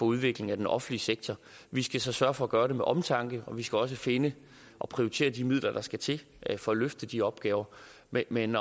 udviklingen i den offentlige sektor vi skal så sørge for at gøre det med omtanke og vi skal også finde og prioritere de midler der skal til for at løfte de opgaver men men